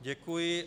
Děkuji.